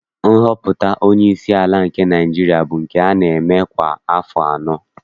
Nhọpụta onyeisi ala nke Naịjirịa bụ nke a na-eme kwa afọ anọ